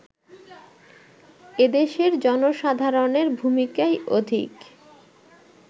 এদেশের জনসাধারণের ভূমিকাই অধিক